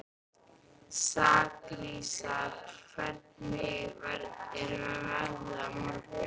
Sakarías, hvernig er veðrið á morgun?